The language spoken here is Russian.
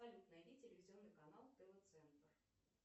салют найди телевизионный канал тв центр